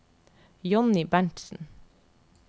Jonny Berntsen